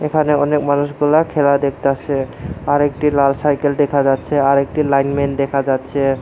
এখানে অনেক মানুষগুলা খেলা দেখতাসে আর একটি লাল সাইকেল দেখা যাচ্ছে আরেকটি লাইন ম্যান দেখা যাচ্ছে।